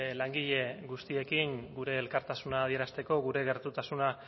langile guztiekin gure elkartasuna adierazteko gure gertutasuna